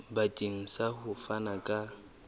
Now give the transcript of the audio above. bakeng sa ho fana ka